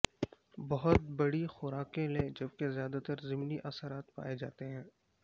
بہت بڑی خوراکیں لے جبکہ زیادہ تر ضمنی اثرات پائے جاتے ہیں